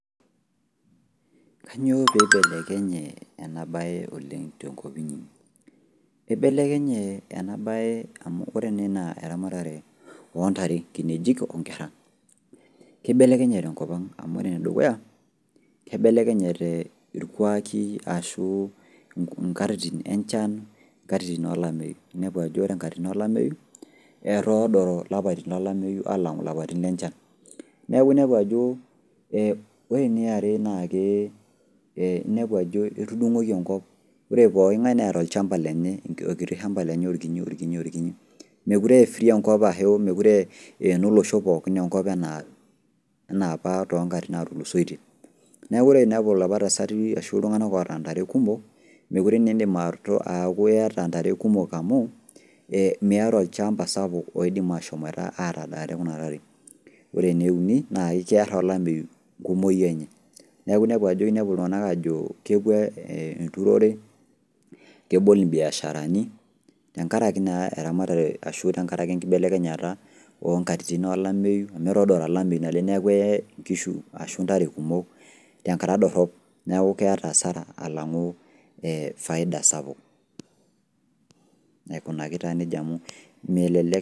Kanyoo peeibelekenye enabaye oleng' enabaye oleng' tenkop inyi ? Eibelekenye ena baye amu ore neena eramatare ontare, nkinejik onkerra, keibelekenye tenkopang' amu ore nedukuya keibelekenyate ilkwaaki ashuu inkatitin enchan inkatitin olameyu, inepu ajo ore nkatitin olameyu etoodoro ilapaitin olameyu aalang'u lapaitin lenchan. Neaku inepu ajoo ee ore niare naakee inepu ajo etudung'oki enkop ore pooking'ai neeta olchamba lenye olkiti shamba lenye, olkinyi olkinyi olkinyi mekure efree enkop ashuu emekure eenolosho pookin enkop anaapa toonkatitin natulusoitie. Neaku ore inepu lopa tasati ashu iltung'ana oata ntare kumok mekore neeindim aaku iata ntare kumok amu [ee] miata olchamba sapuk oidim ashomoita atadaare kuna tare. Ore neuni naake kearr olameyu nkumoi enye neaku inepu ajo inepuo ltung'ana ajoo epuo enturore, kebol imbiasharani tengaraki naa eramatare ashu tengaraki enkibelekenyata oonkatitin olameyu amu etoodora olameyu naleng' neaku eye nkishu ashu ntare kumok tenkata dorrop neaku keata asara alang'u ee faida sapuk. Aikunaki taa neija amu melelek.